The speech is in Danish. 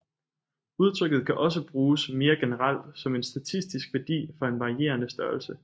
Udtrykket kan også bruges mere generelt som en statistisk værdi for en varierende størrelse